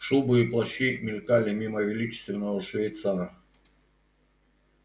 шубы и плащи мелькали мимо величественного швейцара